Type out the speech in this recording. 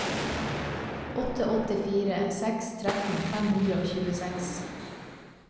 åtte åtte fire seks tretten fem hundre og tjueseks